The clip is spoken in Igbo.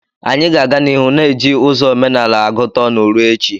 Anyị ga-aga n'ihu na-eji ụzọ omenala agụta ọnụ ruo echi.